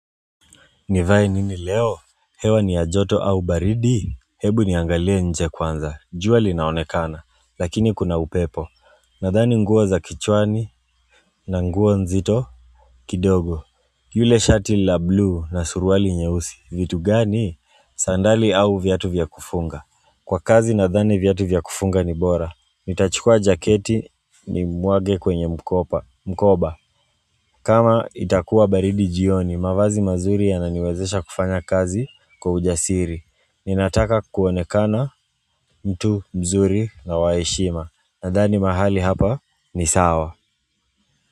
Nivae nini leo hewa ni ya joto au baridi Hebu niangalie nje kwanza, jua linaonekana, lakini kuna upepo Nadhani nguo za kichwani na nguo nzito kidogo yule shati la bluu na suruali nyeusi, vitu gani Sandali au viatu vya kufunga Kwa kazi nadhani viatu vya kufunga ni bora nitachukua jaketi nimwage kwenye mkoba kama itakuwa baridi jioni, mavazi mazuri yananiwezesha kufanya kazi kwa ujasiri. Ninataka kuonekana mtu mzuri na wa heshima. Nadhani mahali hapa ni sawa.